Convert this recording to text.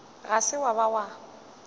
ga se wa ba wa